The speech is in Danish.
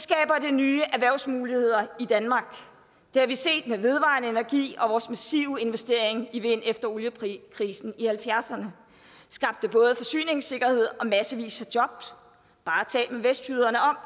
nye erhvervsmuligheder i danmark det har vi set med vedvarende energi og vores massive investering i vind efter oliekrisen i nitten halvfjerdserne skabte både forsyningssikkerhed og massevis af jobs bare tal med vestjyderne om